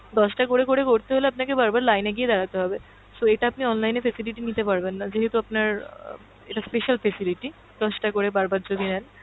দশটা করে করে করতে গেলে আপনাকে বারবার line এ গিয়ে দাঁড়াতে হবে, so এইটা আপনি online এ facility নিতে পারবেন না যেহেতু আপনার আহ এটা special facility দশটা করে বারবার যদি নেন,